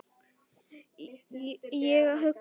Ég hugsa heim.